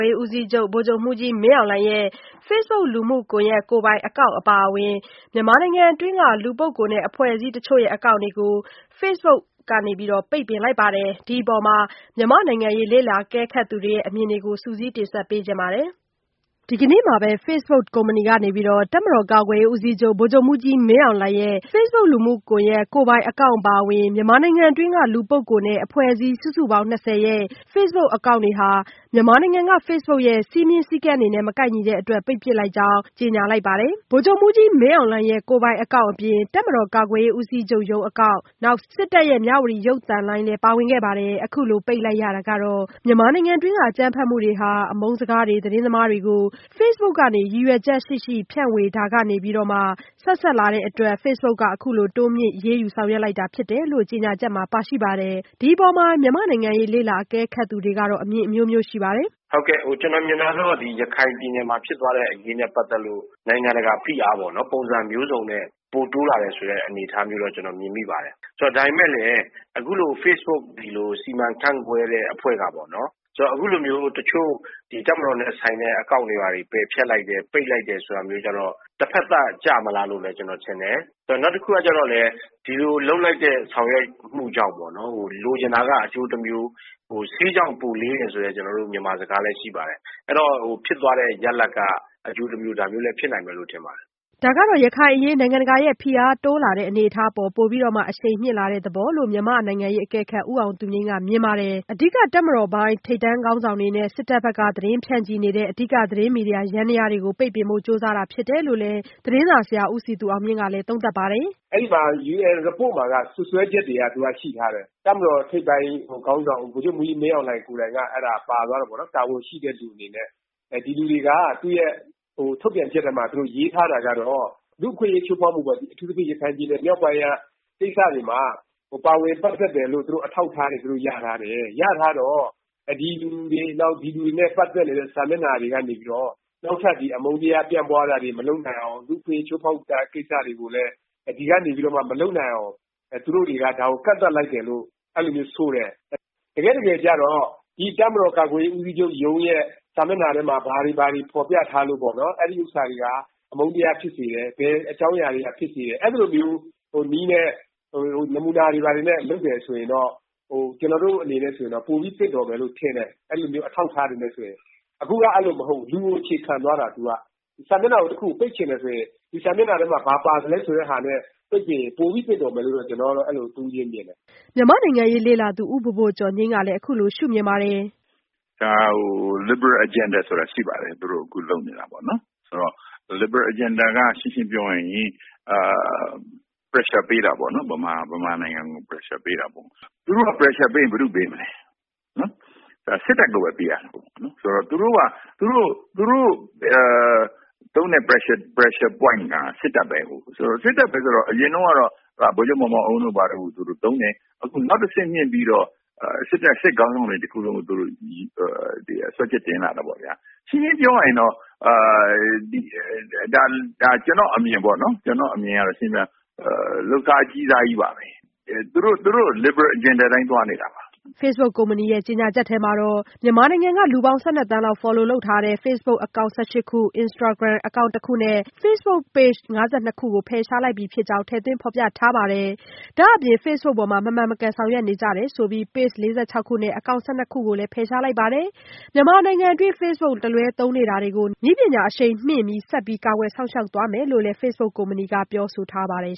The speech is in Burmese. ေး ဦးစီးချုပ် ဗိုလ်ချုပ်မှူးကြီး မင်းအောင်လှိုင်ရဲ့ Facebook လူမှုကွန်ယက် ကိုယ်ပိုင်အကောင့်အပါအဝင် မြန်မာနိုင်ငံတွင်းက လူပုဂ္ဂိုလ်နဲ့ အဖွဲ့အစည်းတချို့ရဲ့အကောင်း့တွေကို Facebook ကနေပိတ်ပင်လိုက်ပါတယ်။ ဒီအပေါ်မှာ မြန်မာ့နိုင်ငံရေးလေ့လာအကဲခတ်သူတွေရဲ့ အမြင်တွေကို မဆုမွန်က စုစည်းတင်ပြထားပါတယ်။ ဒီကနေ့မှာပဲ Facebook ကုမ္ပဏီ ကနေ တပ်မတော်ကာကွယ်ရေး ဦးစီးချုပ် ဗိုလ်ချုပ်မှူးကြီး မင်းအောင်လှိုင်ရဲ့ Facebook လူမှုကွန်ယက် ကိုယ်ပိုင်အကောင့်အပါအဝင် မြန်မာနိုင်ငံတွင်းက လူပုဂ္ဂိုလ်နဲ့ အဖွဲ့အစည်း စုစုပေါင်း ၂၀ ရဲ့ Facebook အကောင့်တွေဟာ မြန်မာနိုင်ငံက Facebook ရဲ့ စည်းမျဉ်းစည်းကမ်းတွေနဲ့ မကိုက်ညီတဲ့ အတွက်ကြောင့် ပိတ်ပစ်လိုက်ကြောင်း ကြေညာလိုက်ပါတယ်။ ဒီအထဲမှာတော့ ဗိုလ်ချုပ်မှူးကြီး မင်းအောင်လှိုင်ရဲ့ ကိုယ်ပိုင်အကောင့်အပြင် တပ်မတော်ကာကွယ်ရေး ဦးစီးချုပ်ရုံးအကောင့်အပြင် စစ်တပ်ရဲ့ မြဝတီ ရုပ်သံလိုင်းလည်း ပါဝင်ခဲ့တာပါ။ အခုလိုပိတ်လိုက်ရတာကတော့ မြန်မာနိုင်ငံတွင်းက အကြမ်းဖက်မှုတွေဟာ အမုန်းစကားတွေ၊ သတင်းမှားတွေကို Facebook ပေါ်ကနေ ရည်ရွယ်ချက်ရှိရှိ ဖြန့်ဝေတာတွေကနေ ဆက်စပ်လာတဲ့အတွက် အခုလိုFacebook က တိုးမြှင့် အရေးယူ ဆောင်ရွက်လိုက်တာဖြစ်တယ်လို့ ကြေညာချက်မှာပါရှိပါတယ်။ ဒီအပေါ် မြန်မာ့နိုင်ငံရေးလေ့လာအကဲခတ်သူတွေကတော့ အမြင်အမျိုးမျိုးရှိပါတယ်။ "ကျနော်မြင်တာကတော့ ရခိုင်ပြည်နယ်မှာဖြစ်သွားတဲ့အရေးနဲ့ ပတ်သက်လို့ နိုင်ငံတကာ ဖိအားပေါ့နော်။ ပုံစံမျိုးစုံနဲ့ ပိုတိုးလာတယ်ဆိုတဲ့ အနေအထားမျိုးတော့ ကျနော်မြင်မိပါတယ်။ ဒါပေမယ့်လည်း အခုလို Facebook စီမံခန့်ခွဲတဲ့အဖွဲ့က အခုလိုမျိုး တချို့ တပ်မတော်နဲ့ဆိုင်တဲ့အကောင့်တွေ ပယ်ဖျက်လိုက်တယ် ပိတ်လိုက်တယ်ဆိုတာကတော့ တဖက်သတ် ကျမလားလို့လည်း ကျနေ်ာထင်တယ်။ နောက်တခုကတော့ ဒီလိုလုပ်လိုက်တဲ့ ဆောင်ရွက်မှုကြောင့်ပေါ့နော် လိုချင်တာက အကျိုးတမျိုး " ဆေးကြောင့်ပိုလေးတယ်" ဆိုတဲ့ မြန်မာစကားလည်းရှိပါတယ်။ အဲဒီတော့ ဖြစ်သွားတဲ့ ရလဒ်က အကျိုးတမျိုး ဒါမျိုးလည်းဖြစ်နိုင်မယ်လို့ ထင်ပါတယ်။" ဒါကတော့ ရခိုင်အရေးနိုင်ငံတကာရဲ့ဖိအားတိုးလာနေတဲ့အနေအထားပေါ် ပိုပြီး အရှိန်မြင့်လာတဲ့သဘောလို့ မြန်မာ့နိုင်ငံရေးအကဲခတ်ဦးအောင်သူငြိမ်းက မြင်ပါတယ်။ အဓိက တပ်မတော်ပိုင်း ထိပ်တန်းခေါင်းဆောင်တွေနဲ့ စစ်တပ်ဘက်က သတင်းဖြန့်ချီနေတဲ့ အဓိကသတင်းမီဒီယာ ယန္တယားတွေကို ပိတ်ပင်ဖို့ကြိုးစားဖြစ်တယ်လို့ သတင်းစာဆရာဦးစည်သူအောင်မြင့်ကလည်း အခုလိုသုံးသပ်ပါတယ်။ "အဲဒီမှာ ရေးတဲ့ Report မှာက စွပ်စွဲချက်တွေက ရှိထားတယ်။ တပ်မတော်ထိပ်ပိုင်းခေါင်းဆောင် ဗိုလ်ချုပ်မှူးကြီး မင်းအောင်လှိုင် က အဲ့တာပါသွားတယ်ပေါ့နော်။ တာဝန်ရှိတဲ့လူအနေနဲ့ ဒီလူတွေက သူ့ထုတ်ပြန်ချက်ထဲမှာ သူတို့ ရေးထားတာကတော့လူ့အခွင့်အရေးချိုးဖောက်မှု အထူးသဖြင့် ရခိုင်ပြည်နယ် မြောက်ပိုင်းကိစ္စတွေမှာ ပါဝင်ပတ်သက်တယ်လို့ အထောက်အထားတွေ သူတို့ရထားတယ်။ ရထားတော့ ဒီလူတွေ နောက် ဒီလူတွေနဲ့ ပတ်သက်နေတဲ့ စာမျက်နှာတွေကနေပြီးတော့ နောက်ထပ်အမုန်းတရားပြန့်ပွားတာတွေမလုပ်နိုင်အောင်၊ လူ့အခွင့်အရေးချိုးဖောက်မှုတွေကလည်း ဒီကနေပြီးတော့ မလုပ်နိုင်အောင် သူတို့တွေက ဒါကို ကန့်သတ်လိုက်တယ်လို့ အဲလိုမျိုးဆိုတယ်။ တကယ့်တကယ်ကျတော့ ဒီတပ်မတော်ကာကွယ်ရေးဦးစီးချုပ်ရုံးရဲ့ စာမျက်နှာထဲမှာ ဘာတွေ ဘာတွေ ဖော်ပြထားလို့ အဲဒါတွေက အမုန်းတရားဖြစ်စေတယ်၊ ဘယ်အကြောင်းအရာတွေကဖြစ်စေတယ် ဆိုတာ အဲလိုမျိုးနည်းနဲ့ နမူနာတွေအနေနဲ့လုပ်တယ်ဆိုရင်တော့ ကျနော်တို့အနေနဲ့ ဆိုရင်တော့ ပိုပြီးသင့်တော်မယ်လို့ထင်တယ်။ အဲလိုမျိုးအထောက်အထားတွေနဲ့ဆိုရင် -အခုက အဲလိုမျိုးမဟုတ်ဘူး ၊ လူကိုအခြေခံသွားတာသူက ။ စာမျက်နှာတခုကို ပိတ်ချင်တယ်ဆိုရင် ဒီစာမျက်နှာထဲမှာ ဘာပါသလဲဆိုတာပြောရင် ပိုပြီးသင့်တော်မယ်လို့ ကျနော်ကတော့ အဲလိုမျိုးမြင်ပါတယ်။" မြန်မာ့နိုင်ငံရေးလေ့လာသူ ဦးဘိုဘိုကျော်ငြိမ်းကလည်း အခုလိုရှု့မြင်ပါတယ်။ "ဒါကို liberal agenda ဆိုတာရှိပါတယ် သူတို့ အခုလုပ်နေတာပေါ့နော် ။ liberal agenda က ရှင်းရှင်းပြောရရင် မြန်မာနိုင်ငံကို Pressure ပေးတာပေါ့နော်၊ သူတို့ Pressure ပေးရင် ဘယ်သူ့ကိုပေးမလဲ စစ်တပ်ကိုပဲ ပေးတာပေါေ့နာ်။ ဆိုတော့ သူတို့ သုံးတဲ့ Pressure ပွိုင့်က စစ်တပ်ပဲကို။ အရင်တုန်းကတော့ ဗိုလ်ချုပ်မောင်မောင်အုန်းတို့ကိုသုံးတယ်။ နောက်တဆင့်မြင့်ပြီးတော့ စစ်တပ် စစ်ခေါင်းဆောင်တခုလုံးကို စွဲချက်တင်လာတာပေါ့ဗျာ ။ ရှင်းရှင်းပြောရရင် ကျနေ်ာ့အမြင်က လုပ်စားအကြီးစားပါပဲ သူတို့ liberal agenda အတိုင်းသွားနေတာပါ။" Facebook ကုမ္ပဏီရဲ့ကြေညာချက်ထဲမှာတော့ မြန်မာနိုင်ငံက လူပေါင်း ၁၂ သန်းလောက်က Follow လုပ်ထားတဲ့ Facebook အကောင့် ၁၈ ခု၊ Instagram အကောင့် ၁ ခုနဲ့ Facebook Page ၅၂ ခုတို့ကို ဖယ်ရှားလိုက်ပြီ ဖြစ်ကြောင်း ထည့်သွင်းဖော်ပြထားပါတယ်။ ဒါ့အပြင် Facebook ပေါ်မှာ မမှန်မကန် ဆောင်ရွက်နေကြတယ်ဆိုပြီး Page ၄၆ ခုနဲ့ အကောင့် ၁၂ ခုတို့ကိုလည်း ဖယ်ရှားလိုက်ပါတယ်။ မြန်မာနိုင်ငံတွင်း Facebook ကို တလွဲသုံးနေတာတွေကို ဆက်ပြီး နည်းပညာအရှိန်မြင့်ကာကွယ်ဆောင်ရွက်သွားမယ်လို့လည်း Facebook ကုမ္ပဏီက ပြောဆိုထားပါတယ်